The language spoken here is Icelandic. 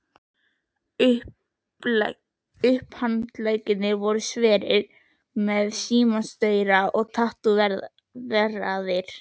Upphandleggirnir voru sverir sem símastaurar og tattóveraðir.